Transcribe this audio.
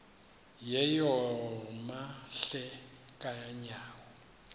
yeyom hle kanyawo